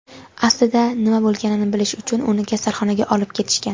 aslida nima bo‘lganini bilish uchun uni kasalxonaga olib ketishgan.